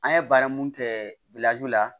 An ye baara mun kɛ la